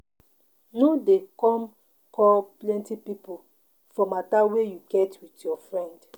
No dey come call plenty pipo for matter wey you get with your friend.